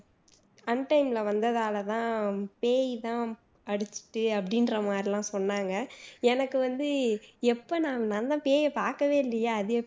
untime ல வந்ததால தான் பேயி மாதிரி அடிச்சுட்டு அப்படின்ற மாதிரியெல்லாம் சொன்னாங்க எனக்கு வந்து எப்போ நான் நான் தான் பேயை பாக்கவே இல்லையே அது